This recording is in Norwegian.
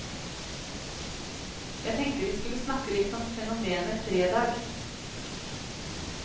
Jeg tenkte vi skulle snakke litt om fenomenet fredag.